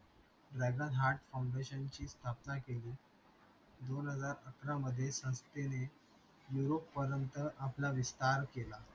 ची स्थापना केली दोन हजार सतरा मधे संस्थेने europe आपला विस्तार केला